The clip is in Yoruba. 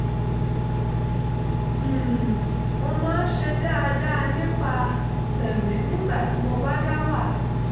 um mo máa ń ṣe dáadáa nípa tẹ̀mí nígbà tí mo bá dá wà